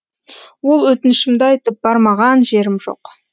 ол өтінішімді айтып бармаған жерім жоқ